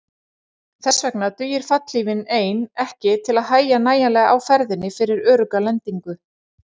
Þess vegna dugir fallhlífin ein ekki til að hægja nægjanlega á ferðinni fyrir örugga lendingu.